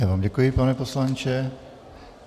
Já vám děkuji, pane poslanče.